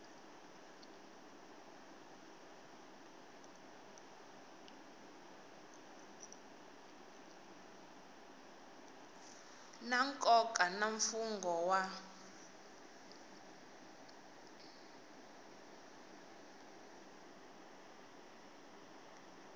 na nkoka na mfungho wun